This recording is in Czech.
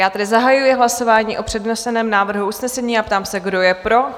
Já tedy zahajuji hlasování o předneseném návrhu usnesení a ptám se, kdo je pro?